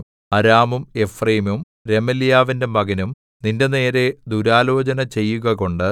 അരാമും എഫ്രയീമും രെമല്യാവിന്റെ മകനും നിന്റെനേരെ ദുരാലോചന ചെയ്യുകകൊണ്ടു